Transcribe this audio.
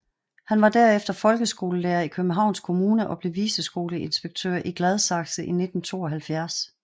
Han var derefter folkeskolelærer i Københavns Kommune og blev viceskoleinspektør i Gladsaxe i 1972